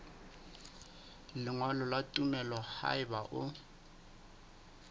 lengolo la tumello haeba o